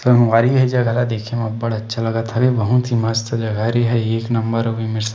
संगवारी हो ये जगह ल देखें हव अब्बड़ अच्छा लगत हावे बहुत ही मस्त जगह हे ये हर एक नम्बर अभी--